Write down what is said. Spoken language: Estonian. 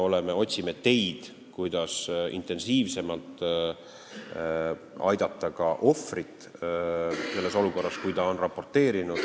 Me otsime teid, kuidas intensiivsemalt aidata ohvrit selles olukorras, kui ta on kuriteost raporteerinud.